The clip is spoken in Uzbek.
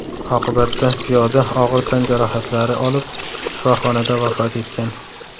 Oqibatda piyoda og‘ir tan jarohatlari olib shifoxonada vafot etgan.